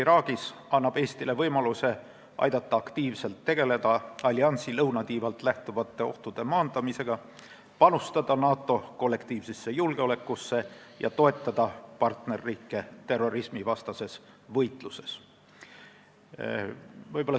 Sellel missioonil osalemine annab Eestile võimaluse aidata aktiivselt tegeleda alliansi lõunatiivalt lähtuvate ohtude maandamisega, panustada NATO kollektiivsesse julgeolekusse ja toetada partnerriike terrorismivastases võitluses.